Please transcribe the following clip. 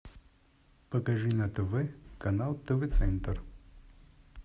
покажи на тв канал тв центр